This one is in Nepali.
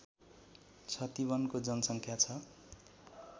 छतिवनको जनसङ्ख्या छ